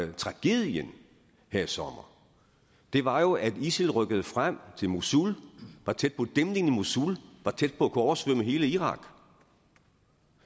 var tragedien her i sommer var jo at isil rykkede frem til mosul var tæt på dæmningen i mosul og var tæt på at kunne oversvømme hele irak